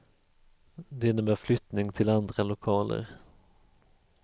Det innebär flyttning till andra lokaler.